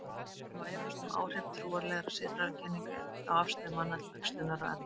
Einnig má efast um áhrif trúarlegra siðfræðikenninga á afstöðu manna til æxlunar og erfða.